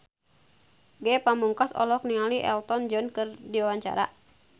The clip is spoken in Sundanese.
Ge Pamungkas olohok ningali Elton John keur diwawancara